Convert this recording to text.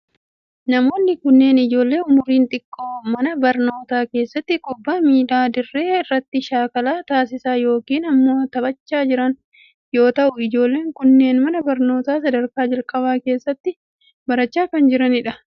Namoonni kunneen ijoollee umuriin xiqqoo mana barnootaa keessatti kubbaa miilaa dirree irratti shaakala taasisaa yokin immoo taphachaa jiran yoo ta'u, ijoolleen kunneen mana barnootaa sadarkaa jalqabaa keessatti barachaa kan jiranii dha.